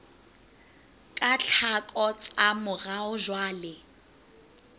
ka tlhako tsa morao jwale